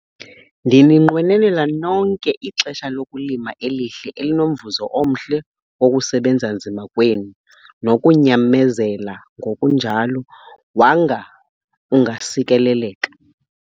Ndininqwenelela nonke ixesha lokulima elihle elinomvuzo omhle wokusebenza nzima kwenu nokunyamezela ngokunjalo - Wanga ungaSikeleleka!